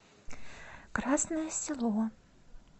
красное село